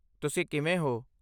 ਤੁਸੀਂ ਕਿਵੇਂ ਹੋ?